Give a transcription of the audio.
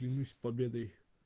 вернусь с победой